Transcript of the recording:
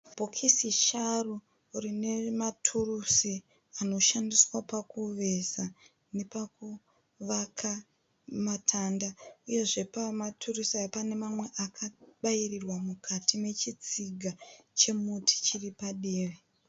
Bhokisi sharu rine maturusi anoshandiswa pakuveza nepavaka matanda uyezve pamaturusi aya pane mamwe akabairirwa mukati mechitsiga chemuti chiri padivi.